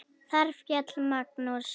Þar féll Magnús.